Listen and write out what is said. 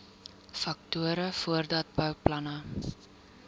faktore voordat bouplanne